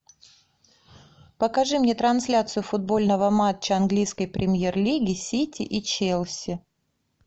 покажи мне трансляцию футбольного матча английской премьер лиги сити и челси